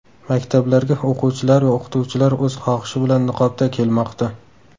Maktablarga o‘quvchilar va o‘qituvchilar o‘z xohishi bilan niqobda kelmoqda.